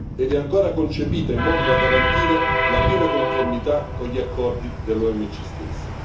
ed è ancora concepita in modo da garantire la piena conformità con gli accordi dell'OMC stessa.